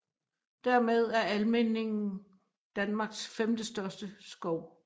Dermed er Almindingen Danmarks femtestørste skov